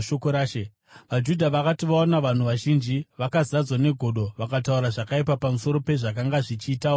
VaJudha vakati vaona vanhu vazhinji, vakazadzwa negodo vakataura zvakaipa pamusoro pezvakanga zvichitaurwa naPauro.